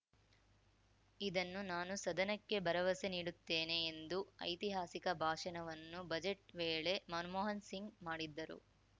ಇದನ್ನು ನಾನು ಸದನಕ್ಕೆ ಭರವಸೆ ನೀಡುತ್ತೇನೆ ಎಂದು ಐತಿಹಾಸಿಕ ಭಾಷಣವನ್ನು ಬಜೆಟ್‌ ವೇಳೆ ಮನಮೋಹನ್‌ ಸಿಂಗ್‌ ಮಾಡಿದ್ದರು